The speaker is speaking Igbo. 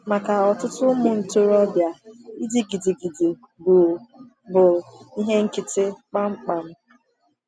Maka ọtụtụ ụmụ ntorobịa, ịdị gịrịgịrị bụ bụ ihe nkịtị kpamkpam.